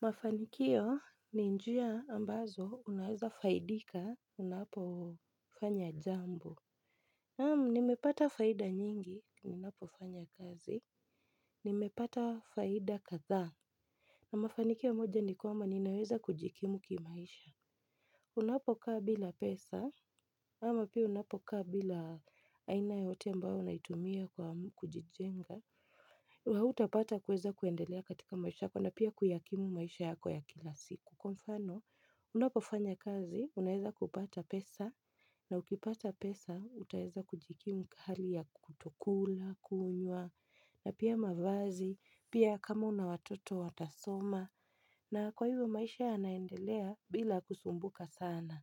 Mafanikio ni njia ambazo unaweza faidika unapofanya jambo naam nimepata faida nyingi, ninapo fanya kazi, nimepata faida kadha na mafanikio moja ni kwamba ninaweza kujikimu kimaisha Unapokaa bila pesa, ama pia unapokaa bila aina yoyote ambayo unaitumia kujijenga Hautapata kuweza kuendelea katika maisha yako na pia kuyakimu maisha yako ya kila siku. Kwa mfano, unapofanya kazi, unaweza kupata pesa, na ukipata pesa, utaweza kujikimu hali ya kutokula, kunyua, na pia mavazi, pia kama unawatoto watasoma, na kwa hivyo maisha yanaendelea bila kusumbuka sana.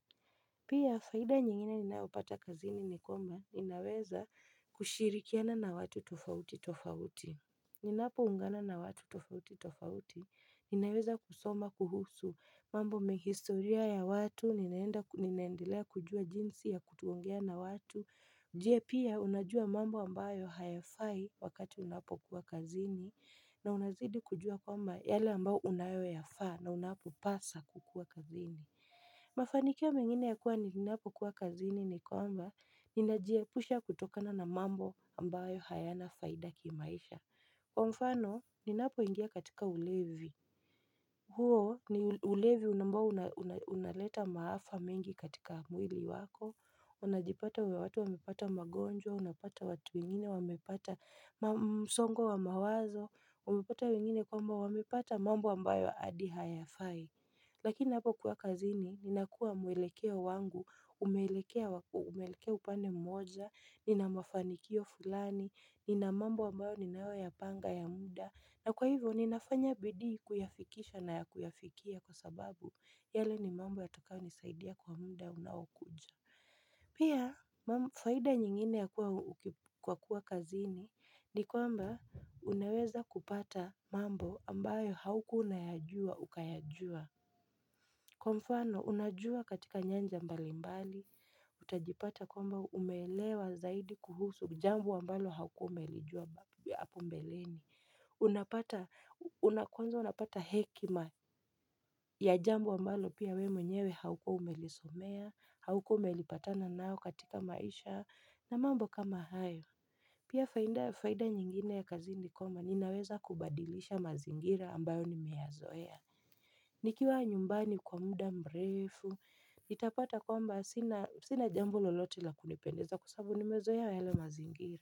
Pia, faida nyingine ninaupata kazi ni nikwamba, ni naweza kushirikiana na watu tofauti tofauti. Ninapo ungana na watu tofauti tofauti, ninaweza kusoma kuhusu mambo mengi historia ya watu, ninaendelea kujua jinsi ya kutuokuulizingatiakuulizingatiangea na watu, njie pia unajua mambo ambayo hayafai wakati unapo kuwa kazini, na unazidi kujua kwamba yale ambayo unayoyafaa na unapopasa kukuwa kazini. Mafanikia mengine ya kuwa nininapo kuwa kazini ni kwamba, ninajiepusha kutokana na mambo ambayo hayana faida kimaisha. Kwa mfano, ninapoingia katika ulevi huo ni ulevi ambao unaleta maafa mengi katika mwili wako Unapata watu wamepata magonjwao. Unapata watu wengine, wamepata msongo wa mawazo umepata wengine kwamba wamepata mambo ambayo adi hayafai Lakini hapo kuwa kazini, ninakua mwelekeo wangu, umeelekea upane mmoja Nina mafanikio fulani Nina mambo ambayo ninayo yapanga ya muda na kwa hivyo, ninafanya bidii kuyafikisha na ya kuyafikia kwa sababu yale ni mambo ya tokayo nisaidia kwa muda unaokuja Pia, faida nyingine ya kuwa kwa kuwa kazini ni kwamba, unaweza kupata mambo ambayo haukuwa unaya jua ukayajua Kwa mfano, unajua katika nyanja mbalimbali Utajipata kwamba umeelewa zaidi kuhusu jambo ambalo haukuwa umelijua hapo mbeleni una kwanza unapata hekima ya jambu ambalo pia wewe mwenyewe haukuwa umelisomea haukuwa umepatana nalo katika maisha na mambo kama hayo Pia faida nyingine ya kazi ni kwamba inaweza kubadilisha mazingira ambayo nimeyazoea nikiwa nyumbani kwa muda mrefu, nitapata kwamba sinajambo lolote la kunipendeza kwa sababu nimezoea yale mazingira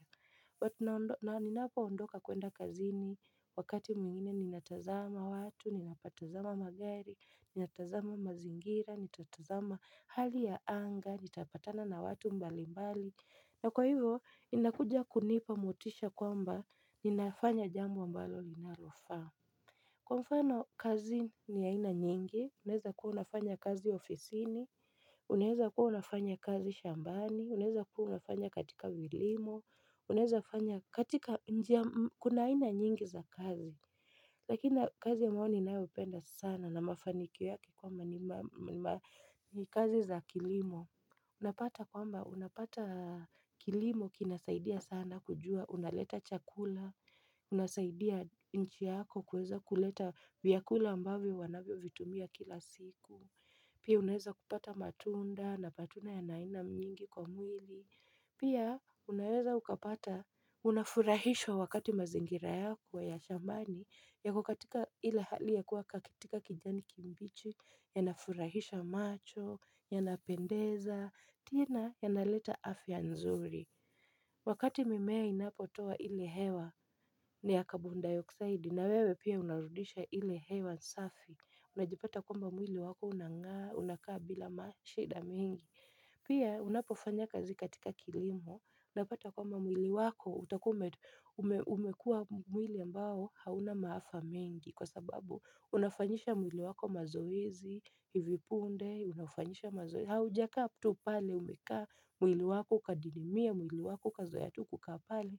na ninapo ondoka kuenda kazini wakati mwingine ninatazama watu, ninapotazama magari, ninatazama mazingira, ninatazama hali ya anga, nitapatana na watu mbalimbali na kwa hivo, inakuja kunipa motisha kwamba ninafanya jambo mbalo linalofaa Kwa mfano kazi ni ya aina nyingi, unaweza kuwa unafanya kazi ofisini, unaweza kuwa unafanya kazi shambani, unaweza kuwa unafanya katika kilimo, unaweza kuwa unafanya katika, kuna ina nyingi za kazi Lakini kazi ambayo ninayo upenda sana na mafanikio kwamba ni kazi za kilimo Unapata kwamba unapata kilimo kinasaidia sana kujua unaleta chakula unasaidia nchi yako kuweza kuleta vyakula ambavyo wanavyo vitumia kila siku Pia unaweza kupata matunda na patuna ya aina nyingi kwa mwili Pia unaweza ukapata unafurahishwa wakati mazingira yako ya shamani ya kukatika ile hali ya kuwa katika kijani kimbichi, ya nafurahisha macho, ya napendeza, tina ya naleta afya nzuri. Wakati mimea inapotoa ile hewa ni ya kabondayoksaidi na wewe pia unarudisha ile hewa safi. Unajipata kwamba mwili wako unangaa, unakaa bila mashida mingi. Pia unapofanya kazi katika kilimo, unapata kwamba mwili wako, utakuwaumekua mwili ambao hauna maafa mengi kwa sababu unafanyisha mwili wako mazoezi, hivipunde, unafanyisha mazoezi, haujakaa tu pale umekaa, mwili wako kadidimia, mwili wako ukazoea tukukaa pale,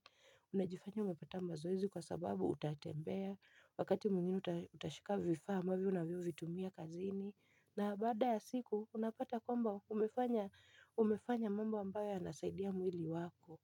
unajifanya umepata mazoezi kwa sababu utatembea, wakati mwingine utashika vifaa ambavyo unavyo vitumia kazini na baada ya siku unapata kwamba umefanya mambo ambayo yanasaidia mwili wako.